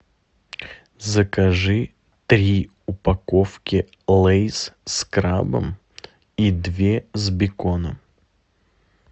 закажи три упаковки лейс с крабом и две с беконом